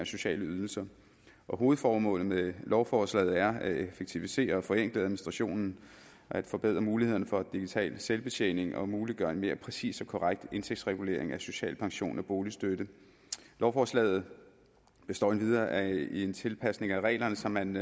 sociale ydelser hovedformålet med lovforslaget er at effektivisere og forenkle administrationen forbedre mulighederne for digital selvbetjening og muliggøre en mere præcis og korrekt indtægtsregulering af social pension og boligstøtte lovforslaget består endvidere af en tilpasning af reglerne så man